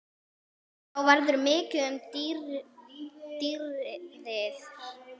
Þá verður mikið um dýrðir